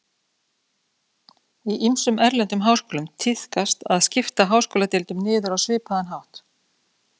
Í ýmsum erlendum háskólum tíðkast að skipta háskóladeildum niður á svipaðan hátt.